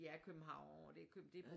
De er København det er